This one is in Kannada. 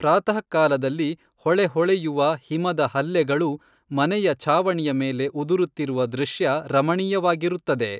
ಪ್ರಾತಃಕಾಲದಲ್ಲಿ ಹೊಳೆಹೊಳೆಯುವ ಹಿಮದ ಹಲ್ಲೆಗಳು ಮನೆಯ ಛಾವಣಿಯ ಮೇಲೆ ಉದುರುತ್ತಿರುವ ದೃಶ್ಯ ರಮಣೀಯವಾಗಿರುತ್ತದೆ.